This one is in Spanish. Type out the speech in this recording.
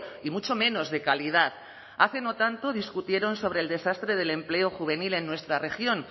y mucho menos de calidad hace no tanto discutieron sobre el desastre del empleo juvenil en nuestra región